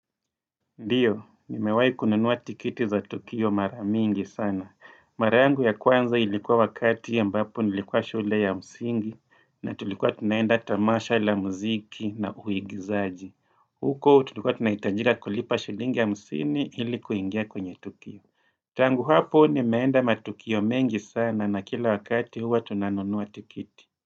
Ndiyo, nimewahi kununua tikiti za Tukio maramingi sana. Mara yangu ya kwanza ilikuwa wakati ambapo nilikuwa shule ya msingi na tulikuwa tunaenda tamasha ile ya muziki na uigizaji. Huko, tulikuwa tunahitajika kulipa shillingi hamsini ili kuingia kwenye Tukio. Tangu hapo, nimeenda matukio mengi sana na kila wakati huwa tunanunua tikiti.